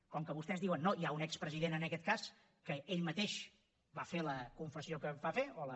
com que vostès diuen no hi ha un expresident en aquest cas que ell mateix va fer la confessió que va fer o la